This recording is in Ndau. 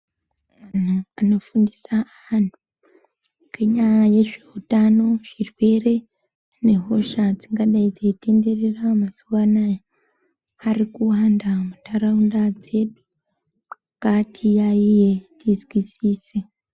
Anhu anofundisa anhu ngenyaya yezveutano zvirwere nehosha dzingadai dzeitenderera mazuwa Anaya ari kuwanda mundaraunda dzedu ngatiyaiye tizwisise.